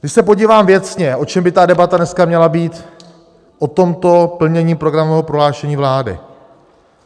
Když se podívám věcně, o čem by ta debata dneska měla být, o tomto plnění programového prohlášení vlády.